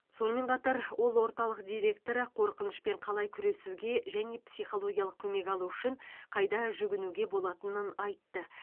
сонымен қатар ол орталық директоры қорқынышпен қалай күресуге және психологиялық көмек алу үшін қайда жүгінуге болатынын айтты